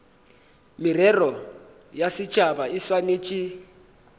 merero ya setšhaba e swanetše